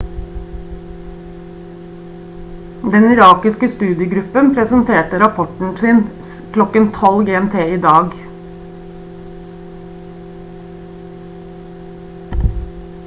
den irakiske studiegruppen presenterte rapporten sin klokken 12.00 gmt i dag